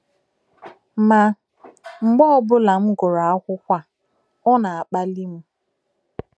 Ma, mgbe ọ ọbụla m gụrụ akwụkwọ a, ọ na - akpali m.